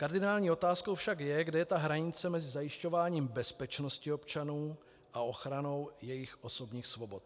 Kardinální otázkou však je, kde je ta hranice mezi zajišťováním bezpečnosti občanů a ochranou jejich osobních svobod.